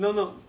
Não, não.